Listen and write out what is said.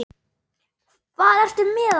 Hvað ertu með þarna?